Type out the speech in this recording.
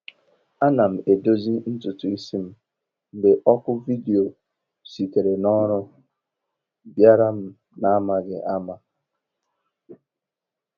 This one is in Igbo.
Ana m edozi ntutu isi m, mgbe oku vidio sitere n’ọrụ bịara m n’amaghị ama